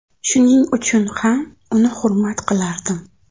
Shuning uchun ham uni hurmat qilardim.